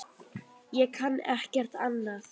Ég kann ekkert annað.